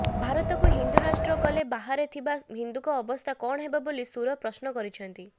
ଭାରତକୁ ହିନ୍ଦୁ ରାଷ୍ଟ୍ର କଲେ ବାହାରେ ଥିବା ହିନ୍ଦୁଙ୍କ ଅବସ୍ଥା କଣ ହେବ ବୋଲି ସୁର ପ୍ରଶ୍ନ କରିଛନ୍ତି